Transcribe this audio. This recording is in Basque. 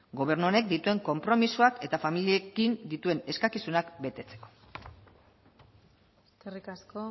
gobernu honek dituen konpromisuak eta familiekin dituen eskakizunak betetzeko eskerrik asko